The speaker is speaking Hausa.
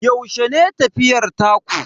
Yaushe ne tafiyar taku?